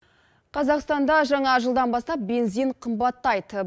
қазақстанда жаңа жылдан бастап бензин қымбаттайды